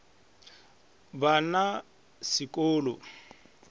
ba na se ko lo